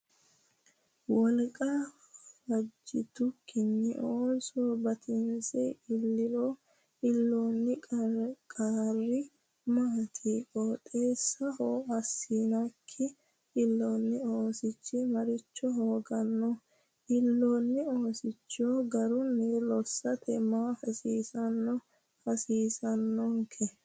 Wolqa fajjitukkinni ooso batinse illiro iillanno qarri maati? Qixxaawo assinikki illoonni oosichi maricho hooganno? Illoonni oosicho garunni lossate maa assa hasiissanno?